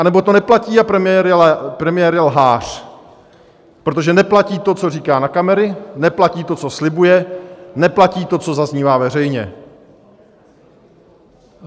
Anebo to neplatí a premiér je lhář, protože neplatí to, co říká na kamery, neplatí to, co slibuje, neplatí to, co zaznívá veřejně.